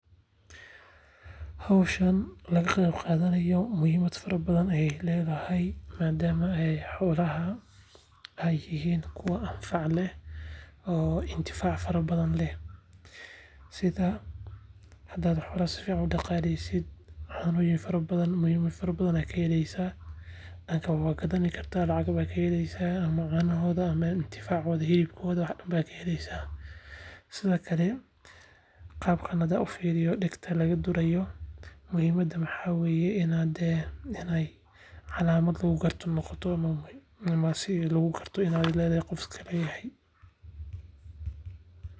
Howshaan laga qeyb qaadanaayo muhiimad fara badan ayeey ledahay maadaama xolaha ay yihiin kuwa anfac leh oo intifaac fara badan leh sida hadaad xolaha sifican udaqaaleysid caanooyin fara badan muhiima fara badan aa kaheleysaa ama waa gadani kartaa lacag aa kaheleysaa ama canohooda, intificaada, hilibkooda wax badan baa kaheleysaa. Sida kale qaabkaan hadaan ufiriyo dagta laga duraayo muhiimada waxaa weye inaay tahay calaamad lagu garto ama si lagu garto inaay qof iska leyahay.